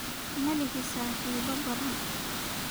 Ma lihi saaxiibo badan